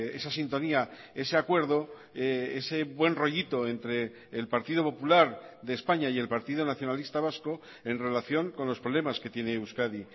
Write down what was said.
esa sintonía ese acuerdo ese buen rollito entre el partido popular de españa y el partido nacionalista vasco en relación con los problemas que tiene euskadi